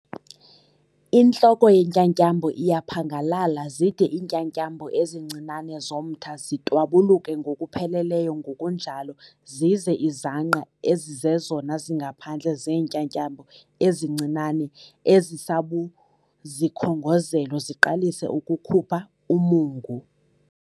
Intloko yentyatyambo iyaphangalala zide iintyatyambo ezincinane zomtha zitwabuluke ngokupheleleyo ngokunjalo zize izangqa ezizezona zingaphandle zeentyatyambo ezincinane ezisabuzikhongozelo ziqalise ukukhupha umungu.